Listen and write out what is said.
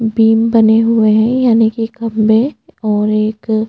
बिम्ब बने हुए हैं यानि के खम्बे और एक--